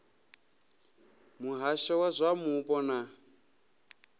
muhasho wa zwa mupo na